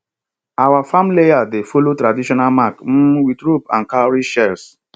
our farm layout dey follow traditional mark um with rope and cowrie shells